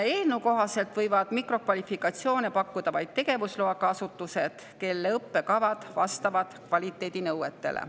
Eelnõu kohaselt võivad mikrokvalifikatsioone pakkuda vaid tegevusloaga asutused, kelle õppekavad vastavad kvaliteedinõuetele.